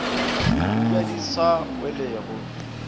o ja di sa welego